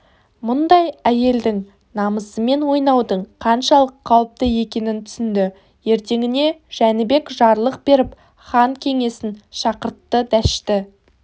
мұндай әйелдің намысымен ойнаудың қаншалық қауіпті екенін түсінді ертеңіне жәнібек жарлық беріп хан кеңесін шақыртты дәшті